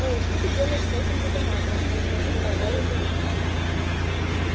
эй что ты делаешь с этим детонатором он схватил пауэлла за руку